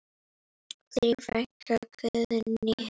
Þín frænka Guðný.